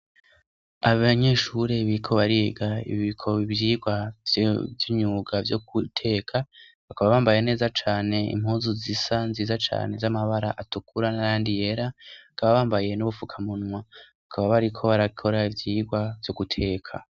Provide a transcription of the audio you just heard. Abanyeshuri bariko bariga ivyigwa vy'imyuga vyo guteka, bakaba bambaye neza cane impuzu zisa, nziza cane, z'amabara atukura n'ayandi yera, bakaba bambaye n'ubufukamunwa, bakaba bariko barakora ivyirwa vyo guteka.